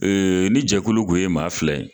Ee ni jɛkulu tun ye maa fila ye